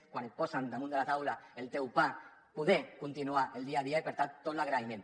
quan et posen damunt de la taula el teu pa poder continuar el dia a dia i per tant tot l’agraïment